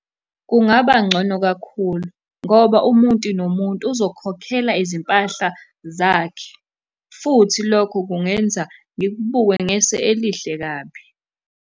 Kungaba ngcono kakhulu, ngoba umuntu nomuntu uzokhokhela izimpahla zakhe, futhi lokho kungenza ngikubuke ngeso elihle kabi.